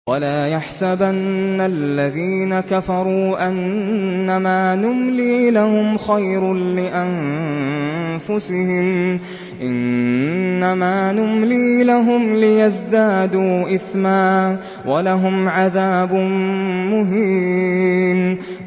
وَلَا يَحْسَبَنَّ الَّذِينَ كَفَرُوا أَنَّمَا نُمْلِي لَهُمْ خَيْرٌ لِّأَنفُسِهِمْ ۚ إِنَّمَا نُمْلِي لَهُمْ لِيَزْدَادُوا إِثْمًا ۚ وَلَهُمْ عَذَابٌ مُّهِينٌ